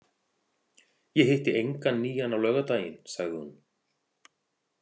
Ég hitti engan nýjan á laugardaginn, sagði hún.